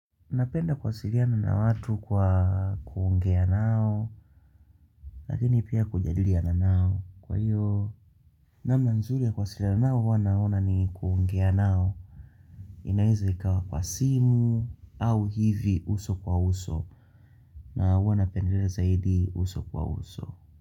Napenda kuwasiliana na watu kwa kuongea nao, lakini pia kujadilina nao. Kwa hiyvo, namna nzuri ya kuwasiliana nao hua naona ni kuongea nao. Inaweza ikawa kwa simu au hivi uso kwa uso. Nahuwa napendelea zaidi uso kwa uso.